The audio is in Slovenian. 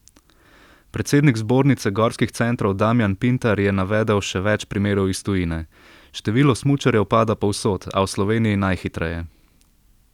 Predsednik zbornice gorskih centrov Damjan Pintar je navedel še več primerov iz tujine: 'Število smučarjev pada povsod, a v Sloveniji najhitreje.